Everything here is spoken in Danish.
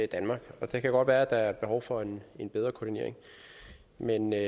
danmark og det kan godt være at der er et behov for en en bedre koordinering men når